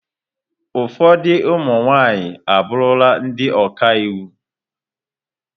Ụfọdụ ụmụ nwaanyị abụrụla ndị ọka iwu.